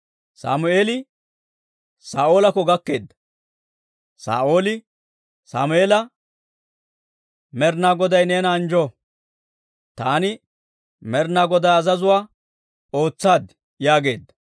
Sammeeli Saa'oolakko gakkeedda; Saa'ooli Sammeela, «Med'inaa Goday neena anjjo; taani Med'inaa Godaa azazuwaa ootsaad» yaageedda.